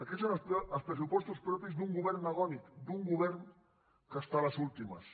aquests són els pressupostos propis d’un govern agònic d’un govern que està a les últimes